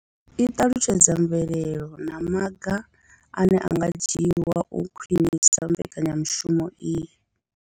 I ṱalutshedza mvelelo na maga ane a nga dzhiwa u khwinisa mbekanyamushumo iyi.